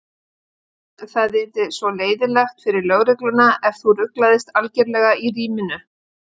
Það yrði svo leiðinlegt fyrir lögregluna ef þú ruglaðist algerlega í ríminu.